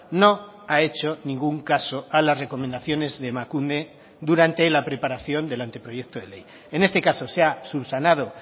no ha hecho ningún caso a las recomendaciones de emakunde durante la preparación del anteproyecto de ley en este caso se ha subsanado